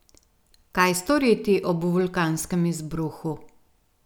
Kaj storiti ob vulkanskem izbruhu?